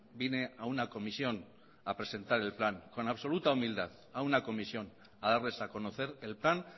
vine a una comisión a presentar el plan con absoluta humildad a una comisión a darles a conocer el plan